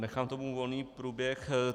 Nechám tomu volný průběh.